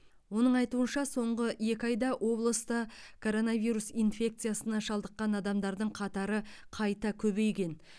оның айтуынша соңғы екі айда облыста коронавирус инфекиясына шалдыққан адамдардың қатары қайта көбейген